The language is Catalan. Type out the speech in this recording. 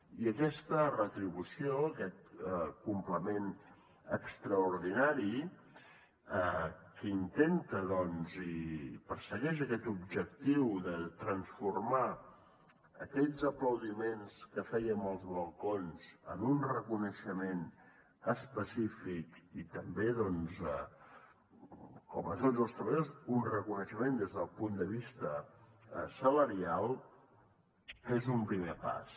i aquesta retribució aquest complement extraordinari que intenta doncs i persegueix aquest objectiu de transformar aquells aplaudiments que fèiem als balcons en un reconeixement específic i també doncs com a tots els treballadors un reconeixement des del punt de vista salarial és un primer pas